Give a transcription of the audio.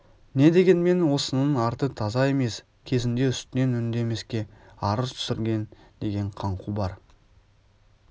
не дегенмен осының арты таза емес кезінде үстінен үндемеске арыз түсірген деген қаңқу бар